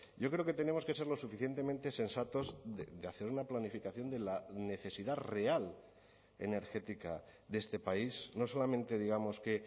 yo creo que tenemos que ser lo suficientemente sensatos de hacer una planificación de la necesidad real energética de este país no solamente digamos que